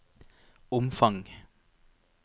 omfang